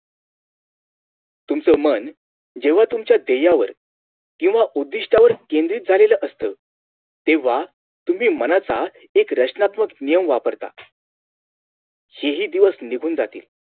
तुमचं मन जेव्हा तुमच्या ध्येयांवर किव्हा उद्धिष्टवर केंद्रित झालेलं आसत तेव्हा तुम्ही मनाचा एक रचनात्मक नियम वापरता हे हि दिवस निघून जातील